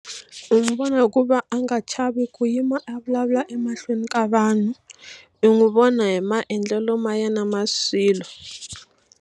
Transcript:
U n'wi vona hi ku va a nga chavi ku yima a vulavula emahlweni ka vanhu u n'wi vona hi maendlelo ma ya na ma swilo